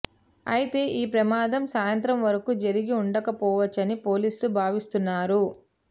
అయితే ఈ ప్రమాదం సాయంత్రం వరకూ జరిగి ఉండకపోవచ్చని పోలీసులు భావిస్తున్నారు